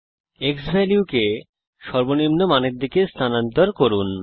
x value কে সর্বনিম্ন মানের দিকে স্থানান্তর করুন